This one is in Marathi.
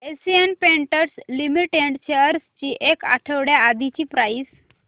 एशियन पेंट्स लिमिटेड शेअर्स ची एक आठवड्या आधीची प्राइस